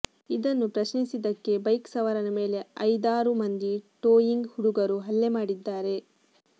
ಇದನ್ನು ಪ್ರಶ್ನಿಿಸಿದಕ್ಕೆೆ ಬೈಕ್ ಸವಾರನ ಮೇಲೆ ಐದಾರು ಮಂದಿ ಟೋಯಿಂಗ್ ಹುಡುಗರು ಹಲ್ಲೆೆ ಮಾಡಿದ್ದಾಾರೆ